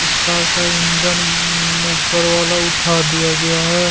इस कार का इंजन ऊपर वाला उठा दिया गया है।